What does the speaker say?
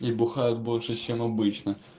и бухают больше чем обычно